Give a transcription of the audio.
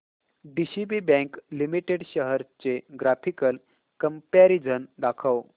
DCB bank limited shares चे graphical comparison दाखव